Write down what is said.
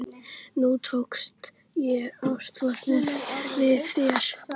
Nú tók ég ástfóstri við þær.